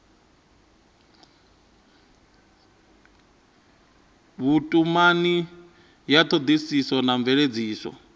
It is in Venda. vhutumani ya thodisiso na mveledziso